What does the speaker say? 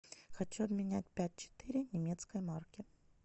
хочу обменять пять четыре немецкой марки